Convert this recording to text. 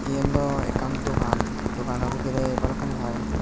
yen daw ekkan dogan dogano bidirey balokkani pai.